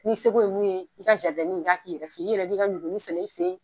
N'i seko ye mun ye, i ka i ka k'iyɛrɛ fɛ yen, i yɛrɛ b'i ka ɲuguni sɛnɛ i fɛ yen.